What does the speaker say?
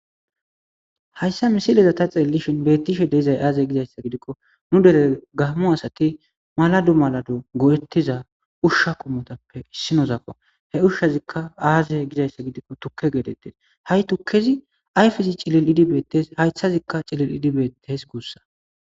Haysa misiley ta xeelishin tas betishe dizay aze gikko nu deren gamo asati malado malado go'etza usha qomotappe issazako izzika aze gizaysa gidikko tuke getetes ha'i tuzi ayfezi cililidi betes haythezika cililidi betes gusako